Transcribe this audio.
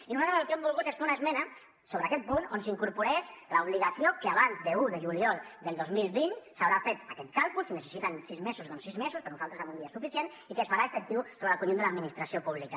i nosaltres el que hem volgut és fer una esmena sobre aquest punt on s’incorporés l’obligació que abans d’un de juliol del dos mil vint s’haurà fet aquest càlcul si necessiten sis mesos doncs sis mesos per nosaltres amb un dia és suficient i que es farà efectiu sobre el conjunt de l’administració pública